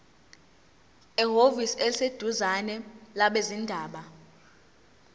ehhovisi eliseduzane labezindaba